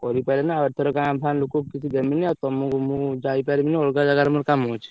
କରି ପାଇଲେନି ଆଉ ଏଇଥର ଗାଁ ଫଁ ଲୋକଙ୍କୁ କିଛି ଦେମିନି ଆଉ ତମକୁ ମୁ ଯାଇପାରିବିନି ଅଲଗା ଜାଗାରେ ମୋର କାମ ଅଛି।